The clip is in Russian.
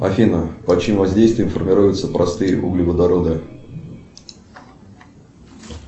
афина под чьим воздействием формируются простые углеводороды